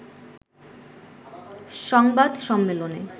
সংবাদ সম্মেলনে